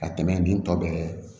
Ka tɛmɛ nin tɔ bɛɛ kan